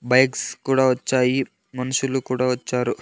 Bikes కూడా వచ్చాయి మనుషులు కూడా వచ్చారు.